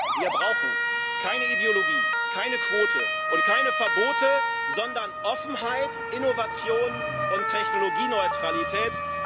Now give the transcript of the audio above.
Wir brauchen keine Ideologie, keine Quote und keine Verbote, sondern Offenheit, Innovation und Technologieneutralität.